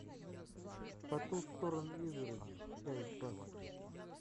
по ту сторону изгороди часть двадцать